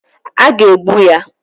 A ga-egbu ya